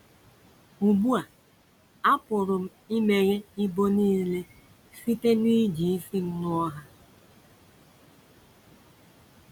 Ugbu a, apụrụ m imeghe ibo nile site n’iji isi m nuo ha.